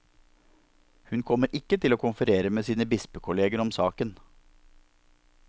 Hun kommer ikke til å konferere med sine bispekolleger om saken.